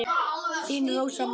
Þín Rósa María.